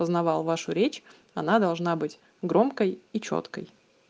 узнавал вашу речь она должна быть громкой и чёткой